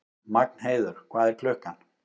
Magnheiður, hvað er klukkan?